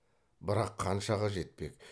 бірақ қаншаға жетпек